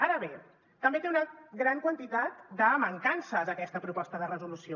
ara bé també té una gran quantitat de mancances aquesta proposta de resolució